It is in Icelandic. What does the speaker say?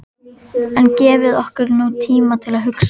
En gefið ykkur nú tíma til að hugsa.